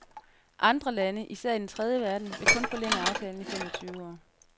Andre lande, især i den tredje verden, vil kun forlænge aftalen i fem og tyve år.